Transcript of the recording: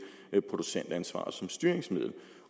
producentansvar som styringsmiddel